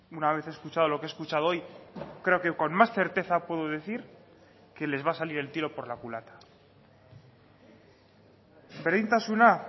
una vez escuchado lo que he escuchado hoy creo que con más certeza puedo decir que les va a salir el tiro por la culata berdintasuna